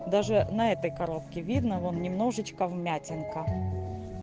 даже на этой коробке видно вон немножечко вмятинка